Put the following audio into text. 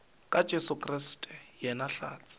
ka jesu kriste yena hlatse